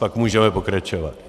Pak můžeme pokračovat.